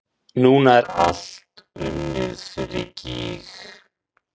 Núna er allt unnið fyrir gýg.